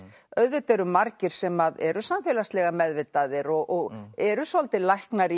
auðvitað eru margir sem eru samfélagslega meðvitaðir og eru svolítið læknar